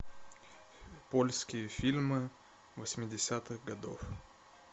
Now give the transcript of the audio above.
польские фильмы восьмидесятых годов